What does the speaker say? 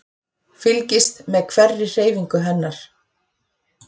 Fylgist með hverri hreyfingu hennar.